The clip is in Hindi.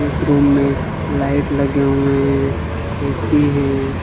इस रूम में लाइट लगे हुए है ए_सी हैं।